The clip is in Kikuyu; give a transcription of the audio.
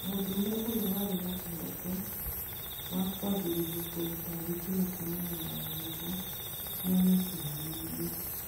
Mũdũrũme ũria wari na kiroto wa kwanjiriria kũruta thitima kuumana na rohuho niamekinyaniirie.